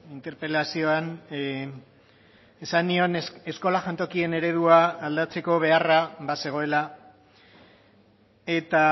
interpelazioan esan nion eskola jantokien eredua aldatzeko beharra bazegoela eta